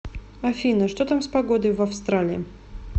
афина что там с погодой в австралии